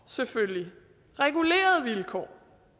selvfølgelig regulerede vilkår